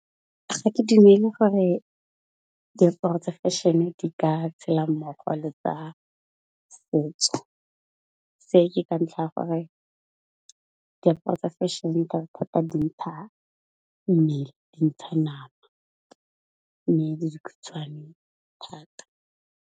Ga ke dumele gore diaparo tsa fashion-e di ka tshela mmogo le tsa setso, se ke ka ntlha ya gore diaparo fashion-e ka dintsha mmele, dintsha nama mme le dikgutshwane thata.